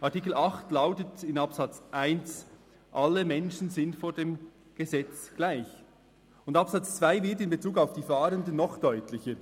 Artikel 8 Absatz 1 lautet: «Alle Menschen sind vor dem Gesetz gleich.», und Absatz 2 wird in Bezug auf die Fahrenden noch deutlicher.